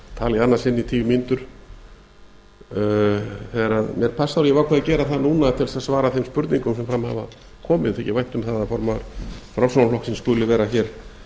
sinn í tíu mínútur þegar mér passar og ég hef ákveðið að gera það núna til þess að svara þeim spurningum sem fram hafa komið mér þykir vænt um það að formaður framsóknarflokksins skuli vera hér